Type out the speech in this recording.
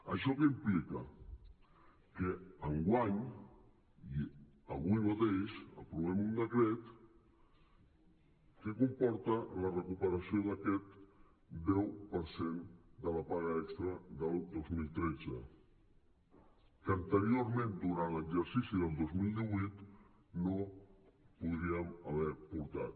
això què implica que enguany i avui mateix aprovem un decret que comporta la recuperació d’aquest deu per cent de la paga extra del dos mil tretze que anteriorment durant l’exercici del dos mil divuit no podríem haver portat